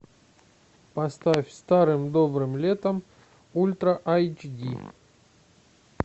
поставь старым добрым летом ультра айч ди